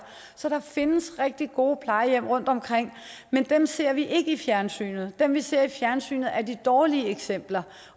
så der findes rigtig gode plejehjem rundtomkring men dem ser vi ikke i fjernsynet dem vi ser i fjernsynet er de dårlige eksempler